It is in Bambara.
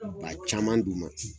Ba caman d'u ma.